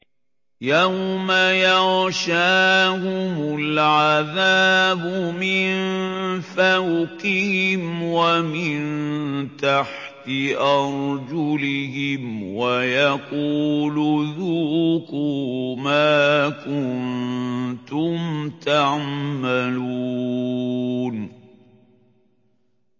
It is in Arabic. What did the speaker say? يَوْمَ يَغْشَاهُمُ الْعَذَابُ مِن فَوْقِهِمْ وَمِن تَحْتِ أَرْجُلِهِمْ وَيَقُولُ ذُوقُوا مَا كُنتُمْ تَعْمَلُونَ